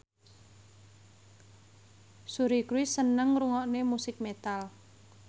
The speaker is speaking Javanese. Suri Cruise seneng ngrungokne musik metal